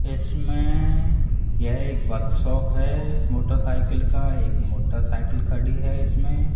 इसमें यह एक वर्कशॉप है मोटरसाइकिल का एक मोटरसाइकिल खड़ी है इसमें --